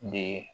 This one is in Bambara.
De